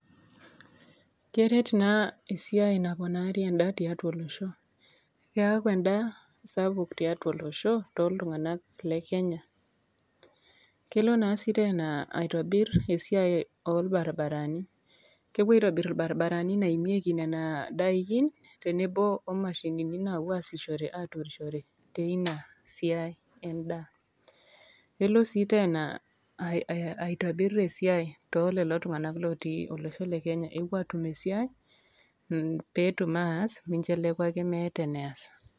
Keret naa esiaai naponari endaa tiatua olosho ,keaku endaa sapuk tiatua oosho toltunganak le kenya, kelo naa si tena aitobir esiai orbaribarani , kepoi aitobir irbaribarani naimieki nona dakin tenebo omashinini naapuo asishore aidutishore teina siaai endaa kelo sii tena aitobir esiiai telelotunganak oasita inasiiai, kepuo atum esiaai, peetum ataas mincheku ake meeta eneas.